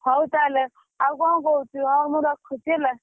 ହଉ ତାହେଲେ ଆଉ କଣ କହୁଛୁ ହଉ ମୁଁ ରଖୁଛି ହେଲା।